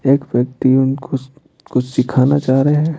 एक व्यक्ति उनको कुश कुछ सिखाना चाह रहे हैं।